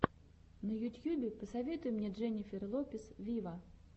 на ютьюбе посоветуй мне дженнифер лопес виво